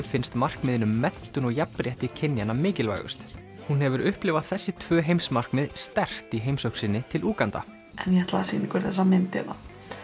finnst markmiðin um menntun og jafnrétti kynjanna mikilvægust hún hefur upplifað þessi tvö heimsmarkmið sterkt í heimsókn sinni til Úganda en ég ætlaði að sýna ykkur þessa mynd hérna